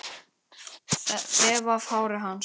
Þefa af hári hans.